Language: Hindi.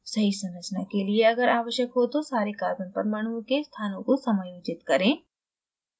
सही संरचना के लिए अगर अवश्यक हो तो सारे carbon परमाणुओं के स्थानों को समायोजित करें